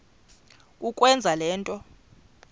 kukwenza le nto